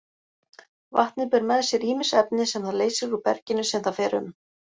Vatnið ber með sér ýmis efni sem það leysir úr berginu sem það fer um.